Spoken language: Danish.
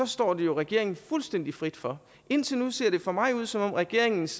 står det jo regeringen fuldstændig frit for indtil nu ser det for mig ud som om regeringens